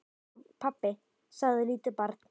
Nema, pabbi, sagði lítið barn.